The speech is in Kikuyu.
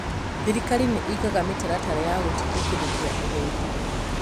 Thirikari nĩ ĩigaga mĩtaratara ya gũtindĩkĩrĩria ũgendi.